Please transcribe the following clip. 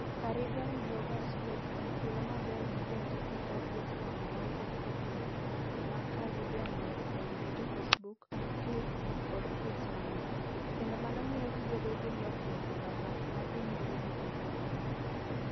Caribbean Bloggers Week en thuolo maber ne jondiko kod jofwambo mawuok e pinje mag Caribbea mondo okonyre gi Facebook, tweets, kod tweets mamoko, kendo mano miyo gibedo gi lokruok e mbaka ma dhi nyime e piny mangima.